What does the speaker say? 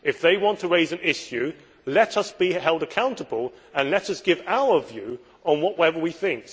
If they want to raise an issue, let us be held accountable and let us give our view on whatever we think.